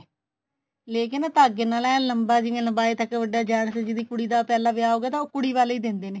ਲੈ ਕੇ ਨਾ ਧਾਗੇ ਨਾਲ ਐਨ ਲੰਮਬਾ ਜਿਵੇਂ ਲੰਬਾਏ ਤੱਕ ਵੱਡਾ ਜਾਂ ਫੇਰ ਜਿਹਦੀ ਕੁੜੀ ਦਾ ਪਹਿਲਾਂ ਵਿਆਹ ਹੋ ਗਿਆ ਤਾਂ ਉਹ ਕੁੜੀ ਵਾਲੇ ਈ ਦਿੰਦੇ ਨੇ